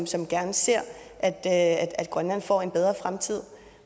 som gerne ser at at grønland får en bedre fremtid